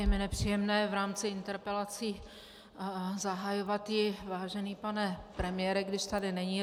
Je mi nepříjemné v rámci interpelací zahajovat ji "vážený pane premiére", když tady není.